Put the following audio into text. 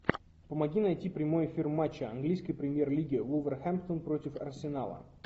помоги найти прямой эфир матча английской премьер лиги вулверхэмптон против арсенала